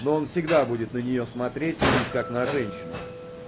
но он всегда будет на неё смотреть лишь как на женщину